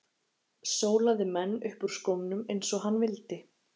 Sólaði menn upp úr skónum eins og hann vildi.